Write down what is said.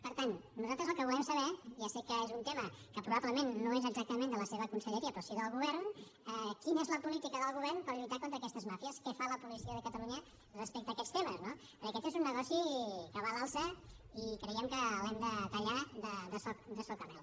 per tant nosaltres el que volem saber ja sé que és un tema que probablement no és exactament de la seva conselleria però sí del govern és quina és la política del govern per lluitar contra aquestes màfies què fa la policia de catalunya respecte a aquests temes no perquè aquest és un negoci que va a l’alça i creiem que l’hem de tallar de soca rel